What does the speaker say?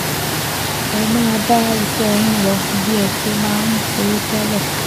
Ẹ máa bá iṣẹ́ yín lọ bí ẹ ṣe máa ń ṣe tẹ́lẹ̀